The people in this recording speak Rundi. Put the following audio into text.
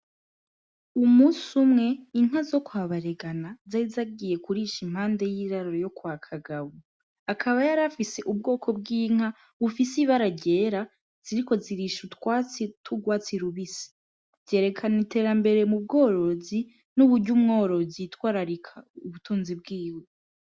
Umusi umwe inka zo kwabaregana zari zagiye kurisha impande y'iraruro yo kwa kagabo akaba yarafise ubwoko bw'inka ufise ibaragyera ziriko zirisha utwatsi turwatsi lubisi vyerekana itera mbere mu bworozi n'uburya umworozi itwararika ubutunzi bwiwe.